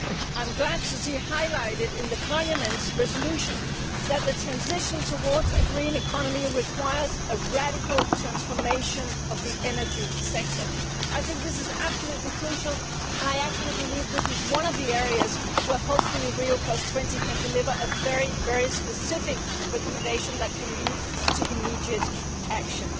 I am glad to see highlighted in the Parliament's resolution that the transition towards a green economy requires a radical transformation of the energy sector. I think this is absolutely crucial and I actually believe this is one of the areas where hopefully Rio20 can deliver a very specific recommendation that can lead to immediate action.